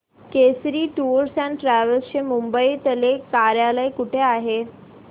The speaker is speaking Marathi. केसरी टूअर्स अँड ट्रॅवल्स चे मुंबई तले कार्यालय कुठे आहे